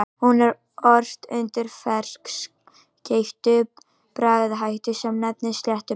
Hún er ort undir ferskeyttum bragarhætti sem nefnist sléttubönd.